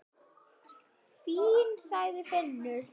Fínn, sagði Finnur.